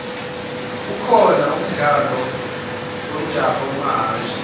kukhona umdlalo wemjaho wamahashi